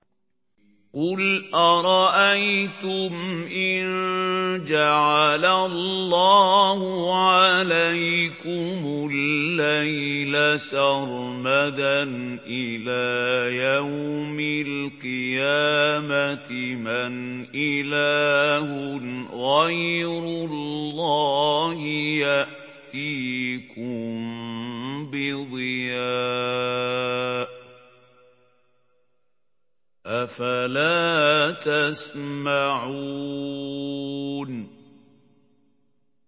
قُلْ أَرَأَيْتُمْ إِن جَعَلَ اللَّهُ عَلَيْكُمُ اللَّيْلَ سَرْمَدًا إِلَىٰ يَوْمِ الْقِيَامَةِ مَنْ إِلَٰهٌ غَيْرُ اللَّهِ يَأْتِيكُم بِضِيَاءٍ ۖ أَفَلَا تَسْمَعُونَ